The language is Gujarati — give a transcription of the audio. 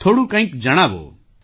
થોડું કંઈક જણાવો